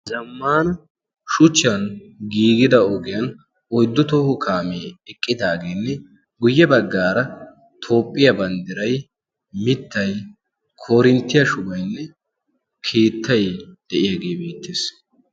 zammana shuchchiyan giigida ogiyan oyddu tooho kaamee eqqidaageenne guyye baggaara toophphiyaa banddiray mittay korinttiyaa shugaynne kiittay de'iyaagee beettees